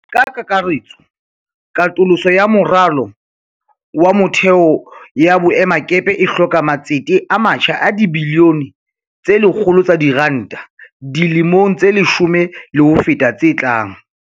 Ka kakaretso, katoloso ya moralo wa motheo ya boemakepe e hloka matsete a matjha a dibili yone tse 100 tsa diranta di le mong tse leshome le ho feta tse tlang.